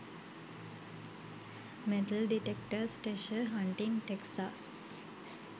metal detectors treasure hunting texas